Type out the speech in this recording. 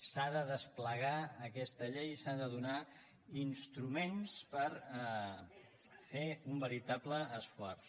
s’ha de desplegar aquesta llei i s’han de donar instruments per fer un veritable esforç